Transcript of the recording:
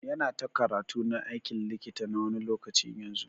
Yana ta karatu na aikin likita na wani lokaci yanzun.